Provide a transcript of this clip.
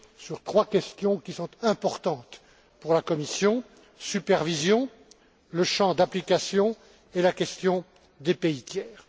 sur trois questions importantes pour la Commission la supervision, le champ d'application et la question des pays tiers.